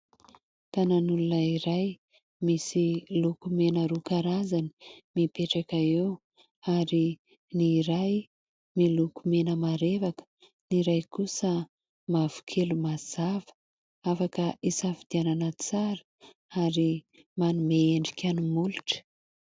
Tanan'olona iray misy lokomena roa karazany mipetraka eo ary ny iray miloko mena marevaka ny iray kosa mavokely mazava, afaka hisafidianana tsara ary manome endrika molotra.